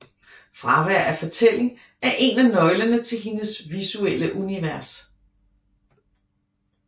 Fravær af fortælling er en af nøglerne til hendes visuelle univers